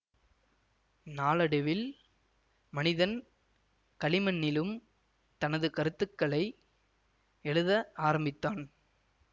நாளடைவில் மனிதன் களிமண்ணிலும் தனது கருத்துக்களை எழுத ஆரம்பித்தான்